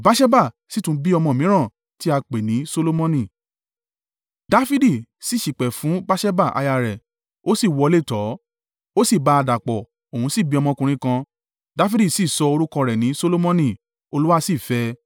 Dafidi sì ṣìpẹ̀ fún Batṣeba aya rẹ̀, ó sì wọlé tọ̀ ọ́, ó sì bá a dàpọ̀, òun sì bí ọmọkùnrin kan, Dafidi sì sọ orúkọ rẹ̀ ní Solomoni, Olúwa sì fẹ́ ẹ.